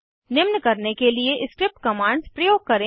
निम्न करने के लिए स्क्रिप्ट कमांड्स प्रयोग करें